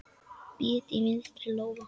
Bit í vinstri lófa.